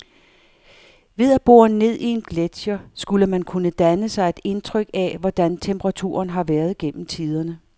Ved at bore ned i en gletscher skulle man kunne danne sig et indtryk af, hvordan temperaturen har været gennem tiderne.